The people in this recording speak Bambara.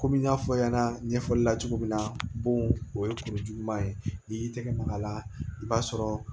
Komi n y'a fɔ ɲɛna ɲɛfɔli la cogo min na bon o ye kuru juguman ye n'i y'i tɛgɛ mag'a la i b'a sɔrɔ